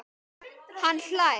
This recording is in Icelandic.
Hann hlær.